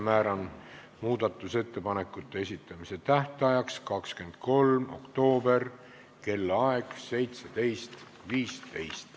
Määran muudatusettepanekute esitamise tähtajaks 23. oktoobri, kellaaeg on 17.15.